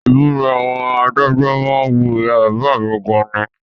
Ìmúra àwọn adájọ́ má ń wu ìyá bàbá mi gan ni